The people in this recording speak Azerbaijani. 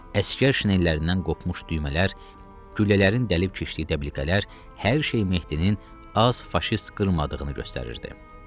Əsgər şinellərindən qopmuş düymələr, güllələrin dəlib keçdiyi dəblikələr, hər şey Mehdinin az faşist qırmadığını göstərirdi.